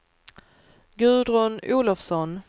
Gudrun Olofsson